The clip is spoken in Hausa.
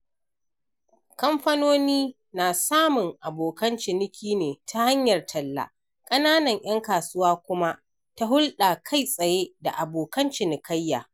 Kamfanoni na samun abokan ciniki ne ta hanyar talla, ƙananan 'yan kasuwa kuma ta hulɗar kai tsaye da abokan cinikayya.